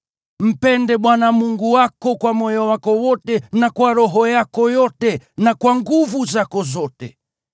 Mpende Bwana Mungu wako kwa moyo wako wote, na kwa roho yako yote, na kwa nguvu zako zote.